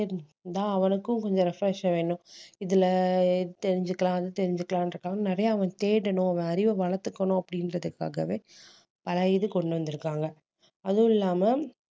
இருந்தா அவனுக்கும் கொஞ்சம் refresh வேணும் இதுல தெரிஞ்சுக்கலாம் அது தெரிஞ்சுக்கலாம்ன்றதுக்காக நிறைய அவன் தேடணும் அவன் அறிவை வளர்த்துக்கணும் அப்படின்றதுக்காகவே பல இது கொண்டு வந்திருக்காங்க அதுவும் இல்லாம